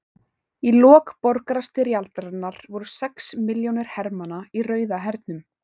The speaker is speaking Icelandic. Í lok borgarastyrjaldarinnar voru sex milljónir hermanna í Rauða hernum.